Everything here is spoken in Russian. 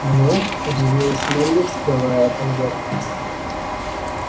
мне удивилась мелли вскрывая конверт